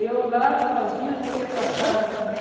Eu lá sozinha não ia para casa também.